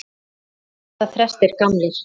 Hvað verða þrestir gamlir?